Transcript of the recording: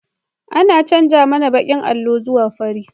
An canja mana bakin allo zuwa fari